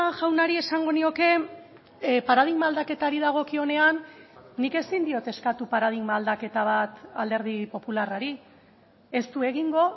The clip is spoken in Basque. jaunari esango nioke paradigma aldaketari dagokionean nik ezin diot eskatu paradigma aldaketa bat alderdi popularrari ez du egingo